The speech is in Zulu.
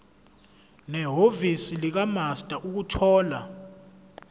nehhovisi likamaster ukuthola